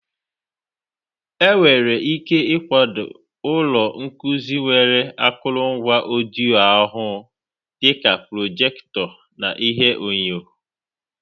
Enwere ike ịkwado ụlọ nkuzi nwere akụrụngwa ọdịyo-ọhụụ, dị ka prọjekịtọ na ihuenyo.